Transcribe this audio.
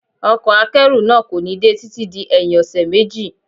Ọkọ̀ akẹ́rù náà kò ní dé títí di ẹyin ọṣẹ méjì.